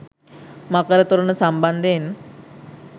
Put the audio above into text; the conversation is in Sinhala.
මකර තොරණ සම්බන්ධයෙන්